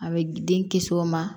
A bɛ den kisi o ma